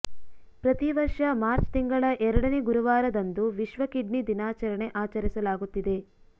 ಪ್ರತಿ ವರ್ಷ ಮಾರ್ಚ್ ತಿಂಗಳ ಎರಡನೇ ಗುರುವಾರದಂದು ವಿಶ್ವ ಕಿಡ್ನಿ ದಿನಾಚರಣೆ ಆಚರಿಸಲಾಗುತ್ತಿದೆ